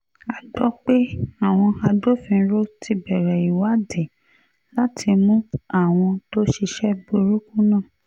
a gbọ́ pé àwọn agbófinró ti bẹ̀rẹ̀ ìwádìí láti mú àwọn tó ṣiṣẹ́ burúkú náà